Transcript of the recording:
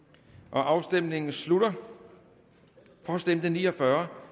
afstemningen slutter for stemte ni og fyrre